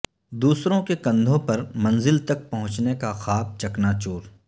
دوسروں کے کندھوں پر منزل تک پہنچنے کا خواب چکنا چور